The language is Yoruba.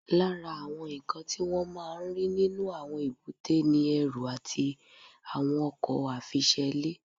Lára àwọn nǹkan tí wọ́n máa ń rí nínú àwọn èbúté ni ẹrù àti àwọn ọkọ̀ àfiṣelé